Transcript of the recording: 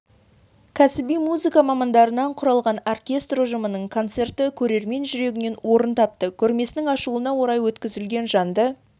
кәсіби музыка мамандарынан құралған оркестр ұжымының концерті көрермен жүрегінен орын тапты көрмесінің ашылуына орай өткізілген жанды